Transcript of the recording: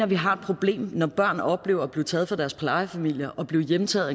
vi har et problem når børn oplever at blive taget fra deres plejefamilier og blive hjemtaget